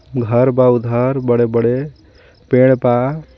घर बा उधार बडे़-बडे़ पेड़ बा.